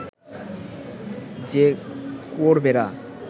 যে কুয়োর বেড়া